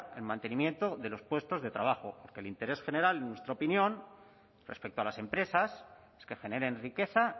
el mantenimiento de los puestos de trabajo que el interés general en nuestra opinión respecto a las empresas es que generen riqueza